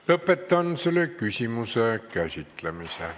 Lõpetan selle küsimuse käsitlemise.